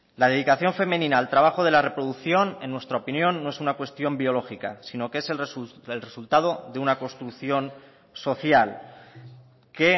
la dedicación femenina al trabajo de la reproducción en nuestra opinión no es una cuestión biológica sino que es el resultado de una construcción social que